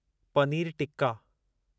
पनीरु tikka